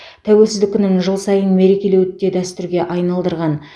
тәуелсіздік күнін жыл сайын мерекелеуді де дәстүрге айналдырған